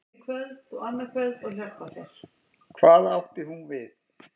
Hvað átti hún við?